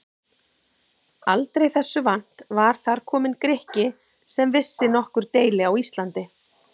Aldrei þessu vant var þar kominn Grikki sem vissi nokkur deili á Íslandi!